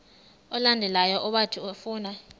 olandelayo owathi ufuna